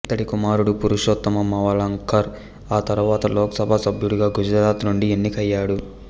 ఇతడి కుమారుడు పురుషోత్తమ మావలాంకర్ ఆ తరువాత లోకసభ సభ్యుడిగా గుజరాత్ నుండి ఎన్నికయ్యాడు